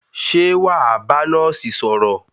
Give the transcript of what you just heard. Ṣé wà á bá nọ́ọ́sì sọ̀rọ̀?